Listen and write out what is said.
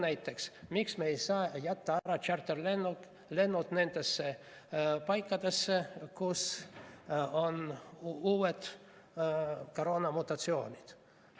Näiteks, miks me ei saa jätta ära tšarterlennud nendesse paikadesse, kus on uued koroonaviiruse mutatsioonid?